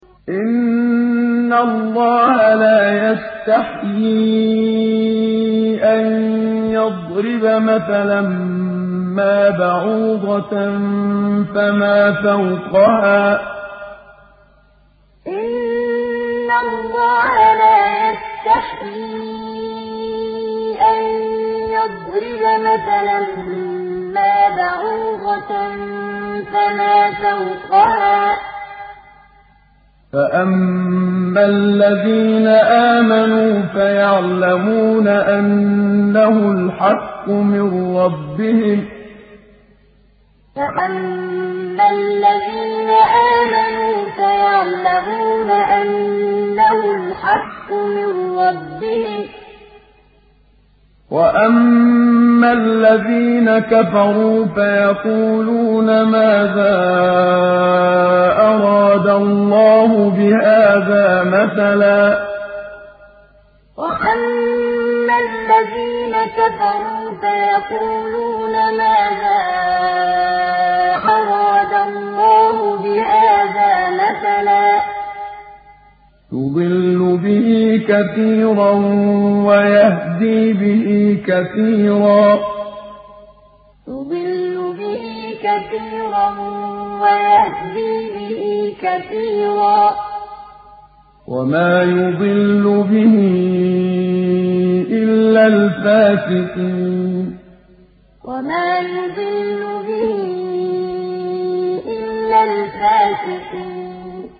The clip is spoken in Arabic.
۞ إِنَّ اللَّهَ لَا يَسْتَحْيِي أَن يَضْرِبَ مَثَلًا مَّا بَعُوضَةً فَمَا فَوْقَهَا ۚ فَأَمَّا الَّذِينَ آمَنُوا فَيَعْلَمُونَ أَنَّهُ الْحَقُّ مِن رَّبِّهِمْ ۖ وَأَمَّا الَّذِينَ كَفَرُوا فَيَقُولُونَ مَاذَا أَرَادَ اللَّهُ بِهَٰذَا مَثَلًا ۘ يُضِلُّ بِهِ كَثِيرًا وَيَهْدِي بِهِ كَثِيرًا ۚ وَمَا يُضِلُّ بِهِ إِلَّا الْفَاسِقِينَ ۞ إِنَّ اللَّهَ لَا يَسْتَحْيِي أَن يَضْرِبَ مَثَلًا مَّا بَعُوضَةً فَمَا فَوْقَهَا ۚ فَأَمَّا الَّذِينَ آمَنُوا فَيَعْلَمُونَ أَنَّهُ الْحَقُّ مِن رَّبِّهِمْ ۖ وَأَمَّا الَّذِينَ كَفَرُوا فَيَقُولُونَ مَاذَا أَرَادَ اللَّهُ بِهَٰذَا مَثَلًا ۘ يُضِلُّ بِهِ كَثِيرًا وَيَهْدِي بِهِ كَثِيرًا ۚ وَمَا يُضِلُّ بِهِ إِلَّا الْفَاسِقِينَ